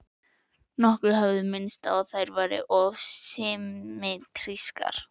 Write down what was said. Nokkrir hafa minnst á að þær séu of symmetrískar.